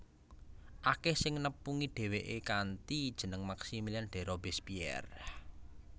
Akèh sing nepungi dhéwéké kanthi jeneng Maximilien de Robespierre